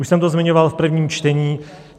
Už jsem to zmiňoval v prvním čtení.